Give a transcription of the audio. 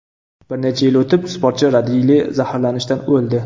Bir necha yil o‘tib, sportchi radiyli zaharlanishdan o‘ldi.